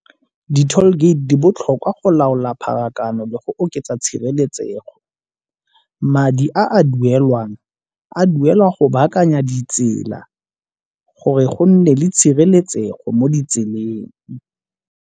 Di-tall gate di botlhokwa go laola pharakano le go oketsa tshireletsego. Madi a a duelwang a duelwa go baakanya ditsela gore go nne le tshireletsego mo ditseleng.